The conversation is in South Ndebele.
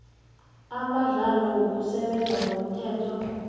amandlalo wokusebenza ngomthetho